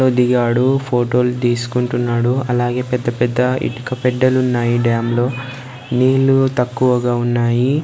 దిగాడు ఫోటోల్ తీసుకుంటున్నాడు అలాగే పెద్ద పెద్ద ఇటుక పెడ్డలున్నాయి డ్యాం లో నీళ్ళు తక్కువగా ఉన్నాయి.